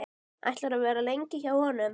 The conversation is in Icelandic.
Ætlarðu að vera lengi hjá honum?